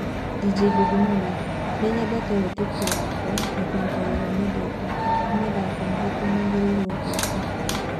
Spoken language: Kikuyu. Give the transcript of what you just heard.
Dj Baby Mama, Ni ndĩyĩte wĩtĩkio wakwa na kũrũta wĩra nyedete. Ni Mathako marĩkũ magĩreirwo gwika